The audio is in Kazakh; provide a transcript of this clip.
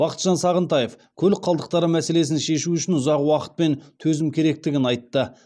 бақытжан сағынтаев көлік қалдықтары мәселесін шешу үшін ұзақ уақыт пен төзім керектігін айтты